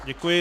Děkuji.